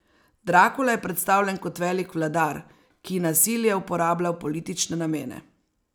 Drakula je predstavljen kot velik vladar, ki nasilje uporablja v politične namene.